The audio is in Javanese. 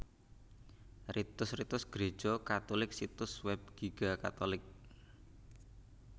Ritus Ritus Gréja Katulik Situs Web Giga catholic